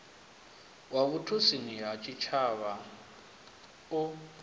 wa vhutshutshisi ha tshitshavha u